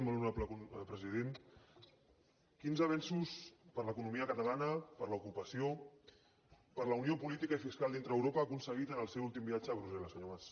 molt honorable president quins avenços per a l’economia catalana per a l’ocupació per a la unió política i fiscal dintre d’europa ha aconseguit amb el seu últim viatge a brussel·les senyor mas